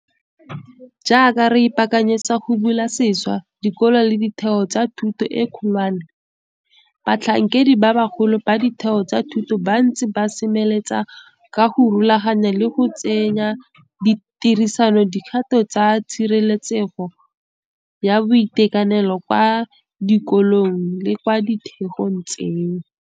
Jaaka re ipaakanyetsa go bula sešwa dikolo le ditheo tsa thuto e kgolwane, batlhankedi ba bagolo ba ditheo tsa thuto ba ntse ba semeletse ka go rulaganya le go tsenya tirisong dikgato tsa tshireletsego ya boitekanelo kwa di kolong le kwa ditheong tseo.